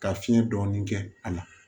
Ka fiɲɛ dɔɔni kɛ a la